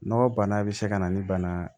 Nɔgɔ bana bɛ se ka na ni bana